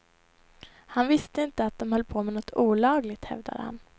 Han visste inte att de höll på med något olagligt, hävdade han.